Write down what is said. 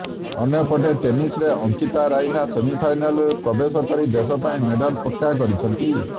ଅନ୍ୟପଟେ ଟେନିସରେ ଅଙ୍କିତା ରାଇନା ସେମିଫାଇନାଲରେ ପ୍ରବେଶ କରି ଦେଶ ପାଇଁ ମେଡାଲ ପକ୍କା କରିଛନ୍ତି